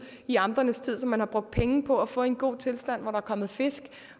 i amternes tid som man har brugt penge på at få i en god tilstand hvor der er kommet fisk